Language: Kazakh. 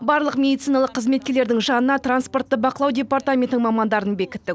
барлық медициналық қызметкерлердің жанына транспортты бақылау департаментінің мамандарын бекіттік